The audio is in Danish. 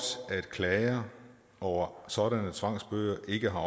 at klager over sådanne tvangsbøder ikke har